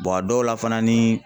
a dɔw la fana ni